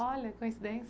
Olha, coincidência.